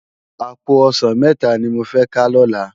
Àpó òsán mètá ni mó fè ká lòlá